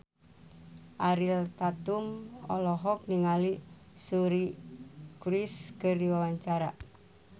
Ariel Tatum olohok ningali Suri Cruise keur diwawancara